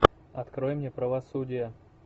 открой мне правосудие